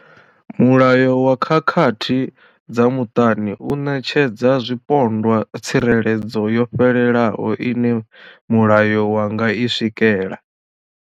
Mulayo wa khakhathi dza muṱani u ṋetshedza zwipondwa tsireledzo yo fhelelaho ine mulayo wa nga i swikela.